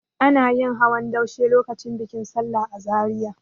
Ana yin hawan daushe lokacin bikin sallah a Zariya.